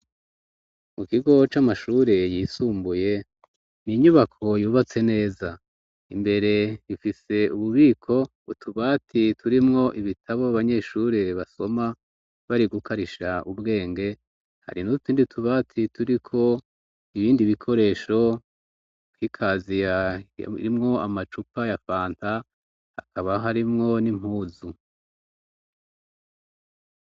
Mu kigo c'amashure yisumbuye, n' inyubako yubatse neza, imbere ifise ububiko utubati turimwo ibitabo abanyeshure basoma bari gukarisha ubwenge hari n'utundi tubati turiko ibindi bikoresho kw'ikaziya irimwo amacupa ya fanta hakaba harimwo n'impuzu